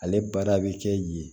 Ale baara bɛ kɛ yen yen